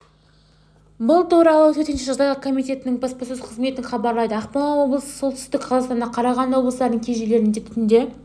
бұл туралы төтенше жағдайлар комитетінің баспасөз қызметі хабарлайды ақмола солтүстік қазақстан қарағанды облыстарының кей жерлерінде түнде